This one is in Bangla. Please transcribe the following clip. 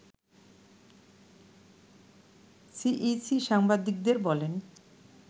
সিইসি সাংবাদিকদের বলেন